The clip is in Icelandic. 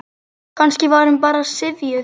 Kannski var hún bara syfjuð.